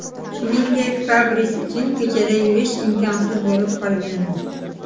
Shuningdek, Fabris uchun ko‘chada yurish imkonsiz bo‘lib qolgandi.